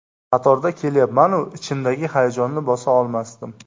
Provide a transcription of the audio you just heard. Qatorda kelyapman-u, ichimdagi hayajonni bosa olmasdim.